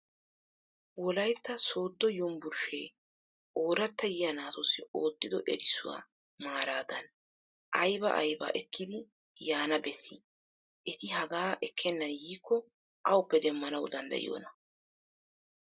Wolaytta Sooddo Yumbburshshe Ooratta yiyya naatussi ootido erissuwaa maaradan aybba aybba ekidi yaana bessi? Eti hagaa ekkenan yiiko awuppe demmanaw danddayiyoona?